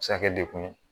A bɛ se ka kɛ dekun ye